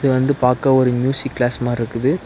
இது வந்து பாக்க ஒரு மியூசிக் க்ளாஸ் மாறிருக்குது.